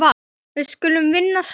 Við skulum vinna saman.